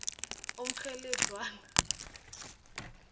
umkgheledzwana